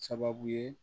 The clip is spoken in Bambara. Sababu ye